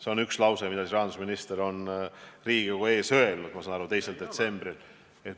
See on lause, mille rahandusminister on Riigikogu ees öelnud, ma saan aru, 2. detsembril.